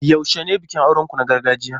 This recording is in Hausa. Yaushe ne bikin auren ku na gargajiya?